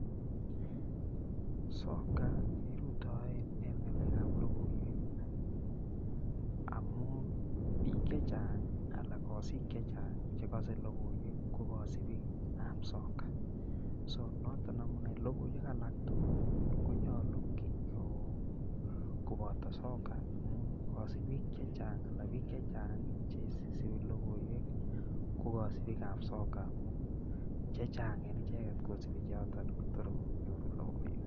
Sokat kerutoen en ngalekab lokoiwek amun biik chechang alaa kosik chechang chekose lokoiwek ko kosibikab soka, so noton amune lokiwek alaktukul konyolu koboto sokat amun kosibik chechang alaa biik chechang cheisipi lokoiwek ko kosipikab soka amun chechang en icheket kosipi chechang amun tor konyoru lokoiwek.